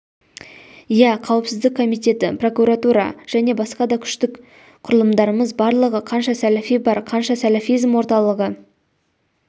иә қауіпсіздік комитеті прокуратура және басқа да күштік құрылымдарымыз барлығы қанша сәләфи бар қанша сәләфизм орталығы